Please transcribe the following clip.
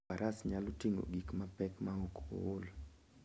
Faras nyalo ting'o gik mapek maok ool.